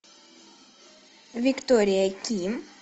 виктория ким